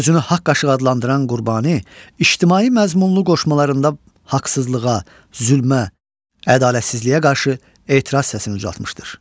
Özünü haqq aşıq adlandıran Qurbani ictimai məzmunlu qoşmalarında haqsızlığa, zülmə, ədalətsizliyə qarşı etiraz səsini uzatmışdır.